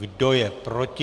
Kdo je proti?